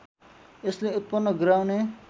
यसले उत्पन्न गराउने